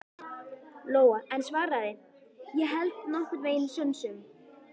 Lóa en svaraði: Ég held nokkurn veginn sönsum.